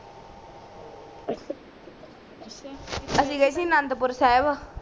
ਅਸੀ ਗਯੇ ਸੀ ਅਨੰਦਪੁਰ ਸਾਹਿਬ